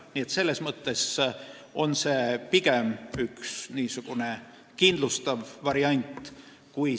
Nii et selles mõttes on see pigem üks niisugune kindlustav variant.